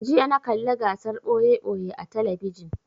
Jiya na kalla gasar ɓoye-ɓoye a talabijin